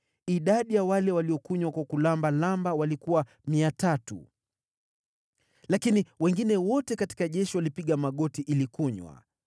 Idadi ya wale waliokunywa kwa kuramba ramba walikuwa 300, lakini wengine wote katika jeshi walipiga magoti ili kunywa.